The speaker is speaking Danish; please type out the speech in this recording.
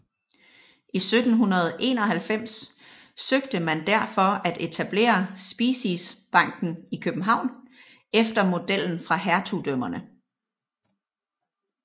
I 1791 søgte man derfor at etablere Speciesbanken i København efter modellen fra hertugdømmerne